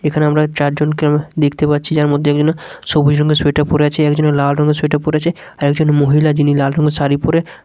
এখানে আমরা চারজনকে দেখতে পাচ্ছি যার মধ্যে একজন সবুজ রঙের সোয়েটার পরে আছে একজন লাল রঙের সোয়েটার পরে আছে একজন মহিলা যিনি লাল রঙের শাড়ি পরে--